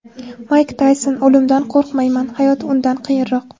Mayk Tayson: O‘limdan qo‘rqmayman, hayot undan qiyinroq.